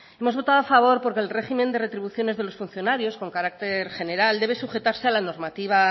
hemos votado a favor porque el régimen de retribuciones de los funcionarios con carácter general debe sujetarse a la normativa